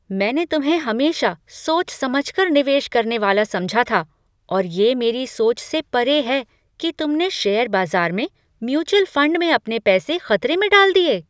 मैंने तुम्हें हमेशा सोच समझ कर निवेश करने वाला समझा था और ये मेरी सोच से परे है कि तुमने शेयर बाज़ार में म्यूचुअल फंड में अपने पैसे खतरे में डाल दिए।